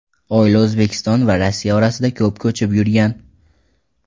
Oila O‘zbekiston va Rossiya orasida ko‘p ko‘chib yurgan.